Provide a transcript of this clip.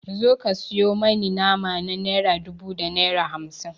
Zo ka sayo mani nama na naira dubu da naira hamsin.